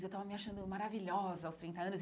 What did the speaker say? Eu estava me achando maravilhosa aos trinta anos.